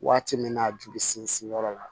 Waati min na joli sinsin yɔrɔ la